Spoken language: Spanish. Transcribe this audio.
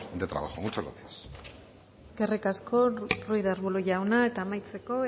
de trabajo muchas gracias eskerrik asko ruiz de arbulo jauna eta amaitzeko